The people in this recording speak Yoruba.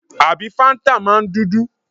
Àbí fáńtà máa ń dúdú?